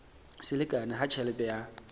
se lekane ha tjhelete ya